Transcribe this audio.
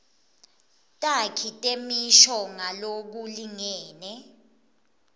takhi temisho ngalokulingene